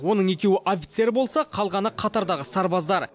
оның екеуі офицер болса қалғаны қатардағы сарбаздар